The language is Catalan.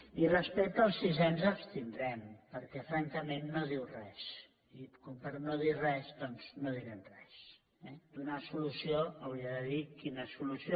i respecte al sisè ens abstindrem perquè francament no diu res i per no dir res doncs no direm res eh donar solució hauria de dir quina solució